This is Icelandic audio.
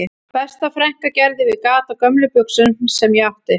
Besta frænka gerði við gat á gömlum buxum sem ég átti